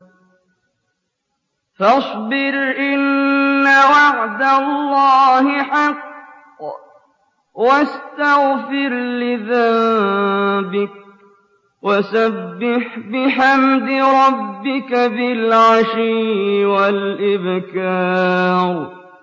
فَاصْبِرْ إِنَّ وَعْدَ اللَّهِ حَقٌّ وَاسْتَغْفِرْ لِذَنبِكَ وَسَبِّحْ بِحَمْدِ رَبِّكَ بِالْعَشِيِّ وَالْإِبْكَارِ